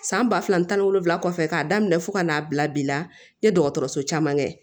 San ba fila ani tan ni wolonwula kɔfɛ k'a daminɛ fo ka n'a bila bi la n ye dɔgɔtɔrɔso caman kɛ